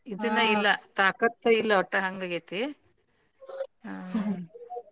ಇದುನೆ ಇಲ್ಲ ತಾಕತ್ತೆ ಇಲ್ಲ ಒಟ್ಟ ಹಂಗಾಗೈತಿ ಹಾ.